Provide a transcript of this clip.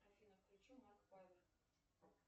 афина включи марк павер